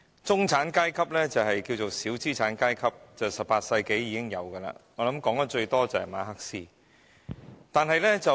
中產階級又名小資產階級，最早見於18世紀，談論得最多的是馬克思。